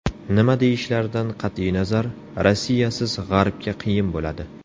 Nima deyishlaridan qat’iy nazar, Rossiyasiz G‘arbga qiyin bo‘ladi.